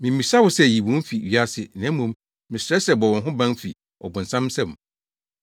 Mimmisa wo sɛ yi wɔn fi wiase, na mmom mesrɛ sɛ bɔ wɔn ho ban fi ɔbonsam nsam.